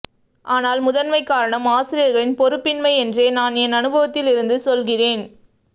ஆனால் முதன்மைக்காரணம் ஆசிரியர்களின் பொறுப்பின்மை என்றே நான் என் அனுபவத்தில் இருந்து சொல்கிறேன்